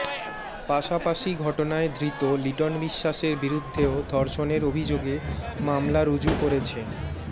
পাশাপাশি ঘটনায় ধৃত লিটন বিশ্বাসের বিরুদ্ধেও ধর্ষণের অভিযোগে মামলা রুজু করেছে